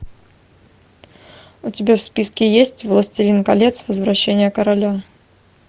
у тебя в списке есть властелин колец возвращение короля